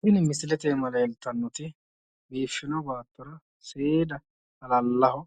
Tini misilete iima leeltannoti biiffino baattora seeda halallaho